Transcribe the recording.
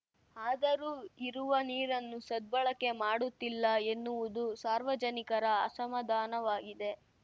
ಆದರೂ ಇರುವ ನೀರನ್ನು ಸದ್ಬಳಕೆ ಮಾಡುತ್ತಿಲ್ಲ ಎನ್ನುವುದು ಸಾರ್ವಜನಿಕರ ಅಸಮಾಧಾನವಾಗಿದೆ